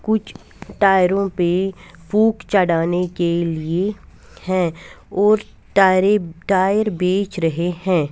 कुछ टायरों पे फूक चढ़ाने के लिए हैं और टायर टायर बेच रहे हैं।